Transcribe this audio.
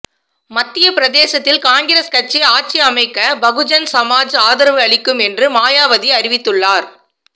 மத்தியப் பிரதேசத்தில் காங்கிரஸ் கட்சி ஆட்சி அமைக்க பகுஜன் சமாஜ் ஆதரவு அளிக்கும் என்று மாயாவதி அறிவிவித்துள்ளார்